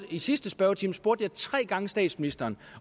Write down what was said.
i sidste spørgetime spurgte jeg tre gange statsministeren